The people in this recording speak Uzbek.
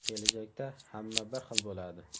Kelajakda hamma bir xil bo‘ladi.